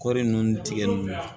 Kɔɔri ninnu tigɛ ninnu na